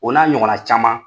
O n'a ɲɔgɔn na caman.